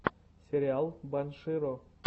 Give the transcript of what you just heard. сериал банширо